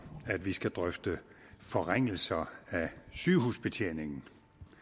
at vi skal drøfte forringelser af sygehusbetjeningen